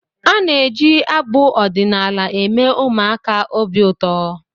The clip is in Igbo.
Ana-eji abụ ọdịnaala. eme ụmụaka obi ụtọ